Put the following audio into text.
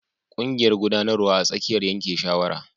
Ƙungiƴar guɗanarwa a tsakiyar yanke shawara.